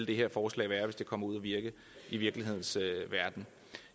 det her forslag hvis det kommer ud at virke i virkelighedens verden